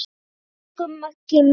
Elsku Maggi minn.